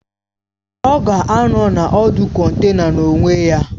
Ọ ga-anọ na ọdụ kọntena n'onwe ya